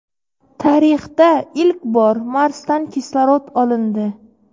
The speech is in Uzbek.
Tarixda ilk bor Marsdan kislorod olindi.